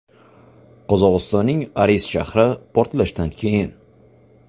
Qozog‘istonning Aris shahri portlashlardan keyin.